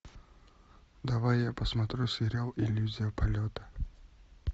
давай я посмотрю сериал иллюзия полета